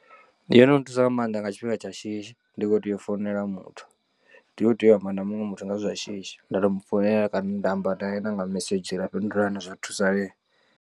Ndi yono nthusa nga maanḓa nga tshifhinga tsha shishi ndi kho tea u founela muthu ndi khou tea u amba na muṅwe muthu nga zwithu zwa shishi nda to mu founela kana nda amba nae na nga mesedzhi ra fhindulana zwa thusalea.